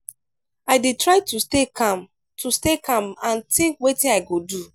i dey try to stay calm to stay calm and think wetin i go do.